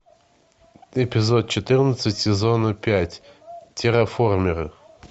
эпизод четырнадцать сезона пять терраформеры